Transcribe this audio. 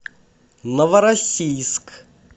новороссийск